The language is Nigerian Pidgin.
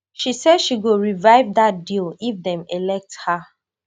she say she go revive dat deal if dem elect her